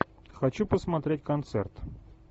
хочу посмотреть концерт